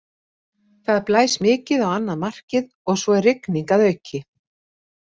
Það blæs mikið á annað markið og svo er rigning að auki.